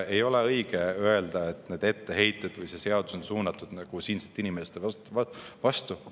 Ei ole õige öelda, et need etteheited või see seadus on suunatud siinsete inimeste vastu.